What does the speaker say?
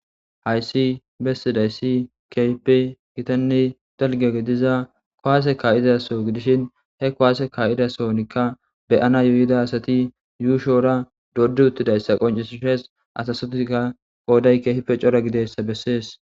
Hayssi bessidaysi kehipe gitanne dalga gidiza kuwaase ka'izaso gidishin he kuwase ka'izasonikka beyana yuuyida asati yuushoora doodi uttidayssa qoncisides. Asa sotika qooday keehippe cora gididaysa bessees.